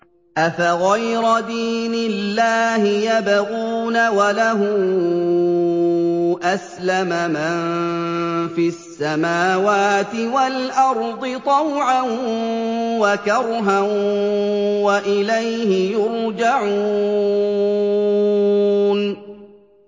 أَفَغَيْرَ دِينِ اللَّهِ يَبْغُونَ وَلَهُ أَسْلَمَ مَن فِي السَّمَاوَاتِ وَالْأَرْضِ طَوْعًا وَكَرْهًا وَإِلَيْهِ يُرْجَعُونَ